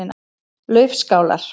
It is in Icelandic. Laufskálar